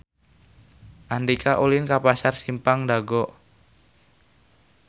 Andika ulin ka Pasar Simpang Dago